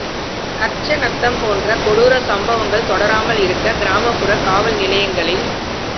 கச்சநத்தம் போன்ற கொடூரச் சம்பவங்கள் தொடராமல் இருக்க கிராமப்புற காவல் நிலையங்களில்